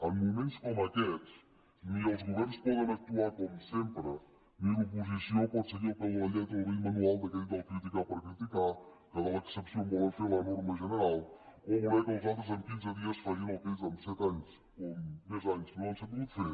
en moments com aquests ni els governs poden actuar com sempre ni l’oposició pot seguir al peu de la lletra el vell manual d’aquell del criticar per criticar que de l’excepció en volen fer la norma general o voler que els altres en quinze dies facin el que ells en set anys o en més anys no han sabut fer